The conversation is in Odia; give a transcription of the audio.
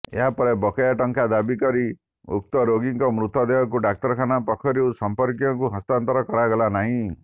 ଏହାପରେ ବକେୟା ଟଙ୍କା ଦାବି କରି ଉକ୍ତ ରୋଗୀଙ୍କ ମୃତଦେହକୁ ଡାକ୍ତରଖାନା ପକ୍ଷରୁ ସମ୍ପର୍କୀୟଙ୍କୁ ହସ୍ତାନ୍ତର କରାଗଲା ନାହିଁ